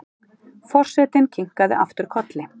Forsetinn kinkar aftur kolli.